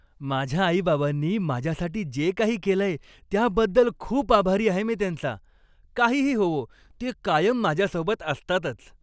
माझ्या आई बाबांनी माझ्यासाठी जे काही केलंय त्याबद्दल खूप आभारी आहे मी त्यांचा. काहीही होवो, ते कायम माझ्या सोबत असतातच.